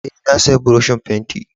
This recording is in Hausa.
Eh, na siya buroshin fentin.